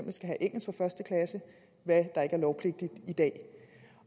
hvad der ikke er lovpligtigt i dag